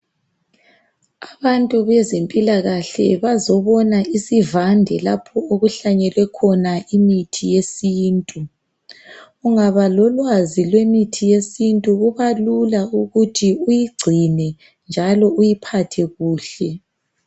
Abantu bezempilakahle bazobona isivande lapho okuhlanyelwe khona imithi yesintu. Ungaba lolwazi lemithi yesintu kubalula ukuthi uyigcine njalo uyiphathe kuhle.